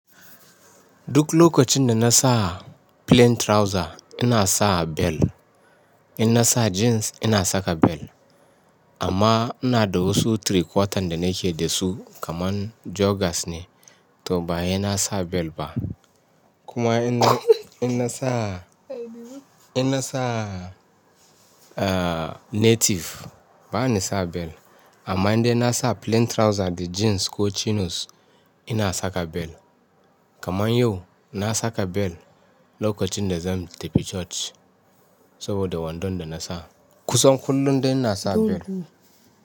Duk lokacin da na sa plain trouser ina sa bel. In na sa jeans ina saka bel. Amma ina da wasu three quarter da nake da su kaman joggers ne, to ba hena sa bel ba. Kuma in na, in na sa, in na sa native bani sa bel. Amma indai nasa plain trouser da jeans koh chinos. Ina saka bel. Kaman yau na saka bel lokacin da zan tafi church. Saboda wandon da na sa. Kusan kullum dai ina sa bel.